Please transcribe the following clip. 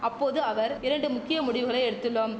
அப்போது அவர் இரண்டு முக்கிய முடிவுகளை எடுத்துள்ளோம்